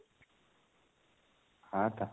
ହଁ ତ